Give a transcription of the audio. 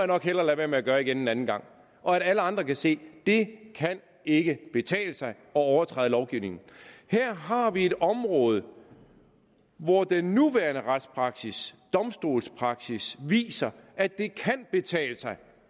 nok hellere lade være med at gøre igen en anden gang og at alle andre kan se det ikke kan betale sig at overtræde lovgivningen her har vi et område hvor den nuværende retspraksis domstolspraksis viser at det kan betale sig